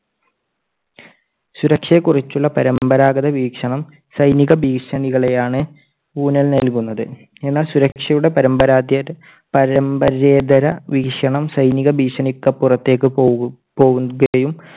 സുരക്ഷയെക്കുറിച്ചുള്ള പരമ്പരാഗത വീക്ഷണം സൈനിക ഭീഷണികളെ ആണ് ഊന്നൽ നൽകുന്നത്. എന്നാൽ സുരക്ഷയുടെ പാരമ്പര്യേതര വീക്ഷണം സൈനിക ഭീഷണിക്ക് പുറത്തേക്ക് പോകും~ പോകുകയും